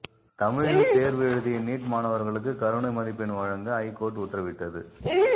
தமிழில் தேர்வு எழுதிய நீட் மாணவர்களுக்கு கருணை மதிப்பெண் வழங்க ஹைகோர்ட் உத்தரவிட்டது